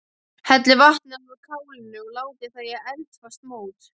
Hellið vatninu af kálinu og látið það í eldfast mót.